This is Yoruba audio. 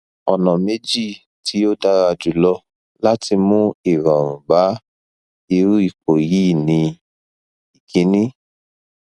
ona meji ti odara julo lati mu irorun ba iru ipo yi ni ikini